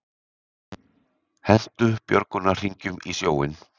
Hentu björgunarhringjum í sjóinn